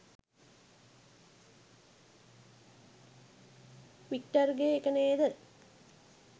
වික්ටර්ගෙ එක නේද?